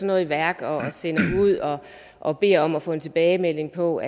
noget i værk og og beder om at få en tilbagemelding på